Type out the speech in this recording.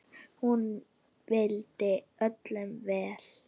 Hún vildi öllum vel.